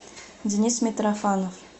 денис митрофанов